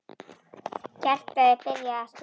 Hjartað er byrjað að slá.